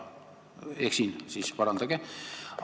Kui ma eksin, siis parandage mind.